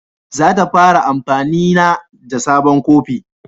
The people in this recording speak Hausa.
Za ta fara amfani na da sabon kofi